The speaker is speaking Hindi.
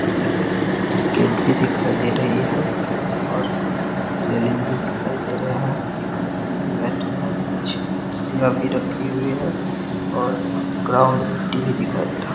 एक गेट भी दिखाई दे रही है और रेलिंग भी दिखाई दे रही है| एक व्यक्ति भी बैठे हुए हैं कुछ कुर्सियां भी रखे हुए हैं और ग्राउन्ड में मिट्टी भी दिखाई दे रही है।